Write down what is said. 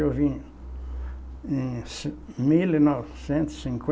Eu vim em cin, mil novecentos e